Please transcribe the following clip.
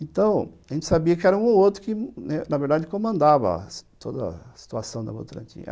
Então, a gente sabia que era um ou outro que, na verdade, comandava toda a situação da Votorantim.